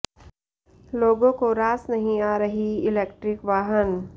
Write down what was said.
लोगों को रास नहीं आ रहीं इलेक्ट्रिक वाहन